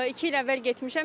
İki il əvvəl getmişəm.